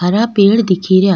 हरा पेड़ दिखे रा।